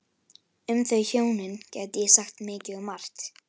Um þau hjónin gæti ég sagt mikið og margt.